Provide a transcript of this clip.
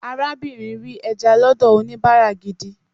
arabinrin ri eja lọdọ onibara gidi